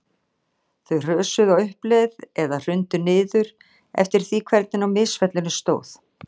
Þau hrösuðu á uppleið eða hrundu niður, eftir því hvernig á misfellunni stóð.